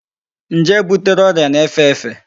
Njé butere ọrịa na-efe efe.